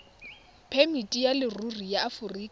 phemiti ya leruri ya aforika